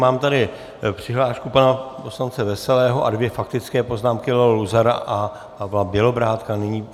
Mám tady přihlášku pana poslance Veselého a dvě faktické poznámky, Leo Luzara a Pavla Bělobrádka.